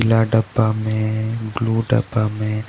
पीला डब्बा मे ब्लू डब्बा मे--